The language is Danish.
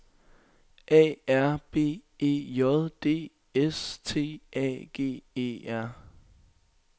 A R B E J D S T A G E R